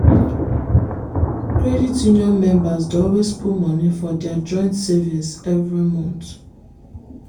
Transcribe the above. credit union members dey always put money for dia joint savings every month.